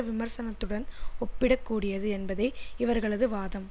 விமர்சனத்துடன் ஒப்பிடக்கூடியது என்பதே இவர்களது வாதம்